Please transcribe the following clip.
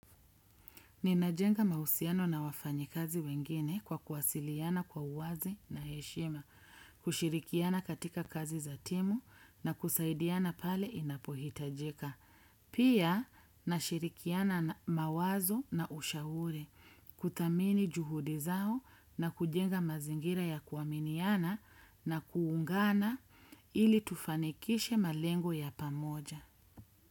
Ninajenga mahusiano na wafanyi kazi wengine kwa kuwasiliana kwa uwazi na heshima, kushirikiana katika kazi za timu na kusaidiana pale inapohitajika. Pia, nashirikiana na mawazo na ushauri, kuthamini juhudi zao na kujenga mazingira ya kuaminiana na kuungana ili tufanikishe malengo ya pamoja.